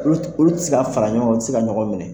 Olu t olu ti se ka fara ɲɔɔn ŋa u ti se ka ɲɔgɔn minɛ.